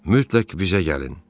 Mütləq bizə gəlin.